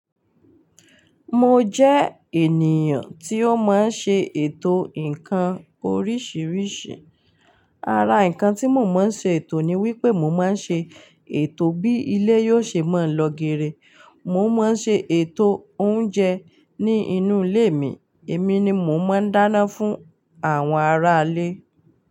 Mo jẹ ènìyàn tí ó máa ń ṣe ètò ǹkan oríṣiríṣi. Ara ǹkan tí mo máa ń ṣe ètò ni wípé mo máa ń ṣe ètò bí ilé yóò ṣe máa lọ geere, mo máa ń ṣe ètò oúnjẹ ni inú ilé mi, èmi ni mo máa ń dáná fún àwọn ará ilé.